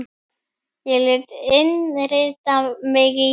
Ég lét innrita mig í